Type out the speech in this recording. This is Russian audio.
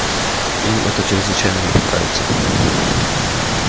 им это чрезвычайно не понравится